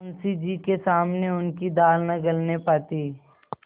मुंशी जी के सामने उनकी दाल न गलने पाती